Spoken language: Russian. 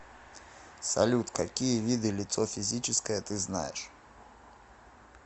салют какие виды лицо физическое ты знаешь